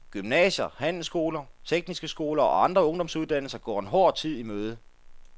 Gymnasier, handelsskoler, tekniske skoler og andre ungdomsuddannelser går en hård tid i møde.